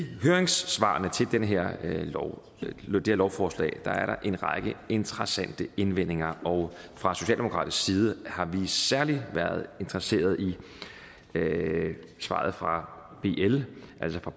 høringssvarene til det her lovforslag er der en række interessante indvendinger og fra socialdemokratisk side har vi særlig været interesseret i svaret fra bl altså fra